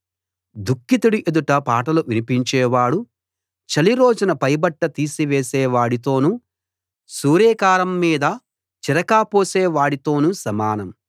దుఃఖితుడి ఎదుట పాటలు వినిపించేవాడు చలి రోజున పైబట్ట తీసివేసే వాడితోను సూరేకారం మీద చిరక పోసే వాడితోను సమానం